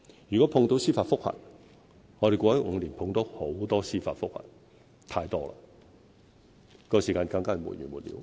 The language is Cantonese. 如果遇上司法覆核，我們過去5年遇上很多司法覆核，太多了，時間上就更是沒完沒了。